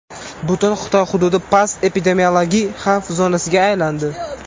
Butun Xitoy hududi past epidemiologik xavf zonasiga aylandi.